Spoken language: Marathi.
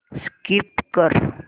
स्कीप कर